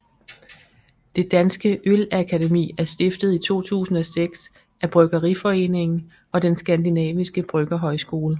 Det Danske Ølakademi er stiftet i 2006 af Bryggeriforeningen og Den Skandinaviske Bryggerhøjskole